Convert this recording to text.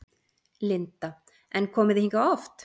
Linda: En komið þið hingað oft?